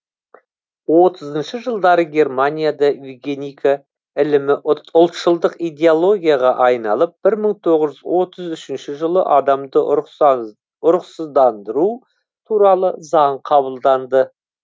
отызыншы жылдары германияда евгеника ілімі ұлтшылдық идеологияға айналып бір мың тоғыз жүз отыз үшінші жылы адамды ұрықсыздандыру туралы заң қабылданды